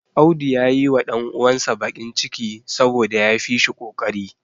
Audu ya yiwa ɗan uwansa bakin ciki saboda ya fi shi ƙoƙari.